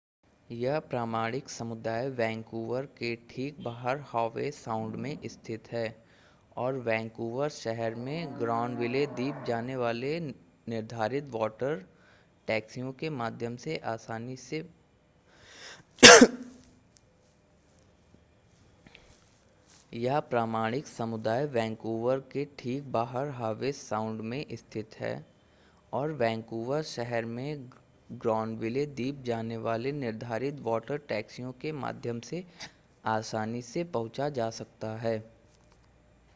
यह प्रामाणिक समुदाय वैंकूवर के ठीक बाहर हॉवे साउंड में स्थित है और वैंकूवर शहर में ग्रानविले द्वीप जाने वाले निर्धारित वाटर टैक्सियों के माध्यम से आसानी से पहुंचा जा सकता है